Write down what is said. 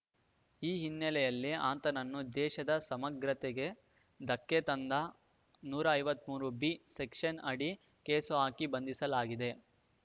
ಈ ಹಿನ್ನೆಲೆಯಲ್ಲಿ ಅಂತನನ್ನು ದೇಶದ ಸಮಗ್ರತೆಗೆ ಧಕ್ಕೆ ತಂದ ನೂರ ಐವತ್ತ್ ಮೂರು ಬಿ ಸೆಕ್ಷನ್‌ ಅಡಿ ಕೇಸು ಹಾಕಿ ಬಂಧಿಸಲಾಗಿದೆ